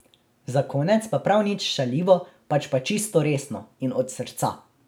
Za konec pa prav nič šaljivo, pač pa čisto resno in od srca.